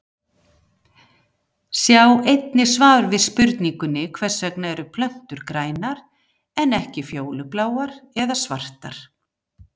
Sjá einnig svar við spurningunni Hvers vegna eru plöntur grænar en ekki fjólubláar eða svartar?